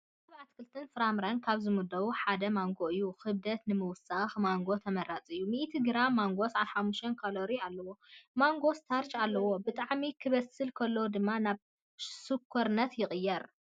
ካብ ኣትክልትን ፍራምረታትን ካብ ዝምደቡ ሓደ ማንጎ እዩ፡፡ ክብደት ንምውሳኽ ማንጎ ተመራፂ እዩ፡፡ 100 ግራም ማንጎ 75 ካሎሪ አለዎ፡፡ ማንጎ ስታርች አለዎ፡፡ ብጣዕሚ ክበስል ከሎ ድማ ናብ ስኳርነት ይቕየር፡፡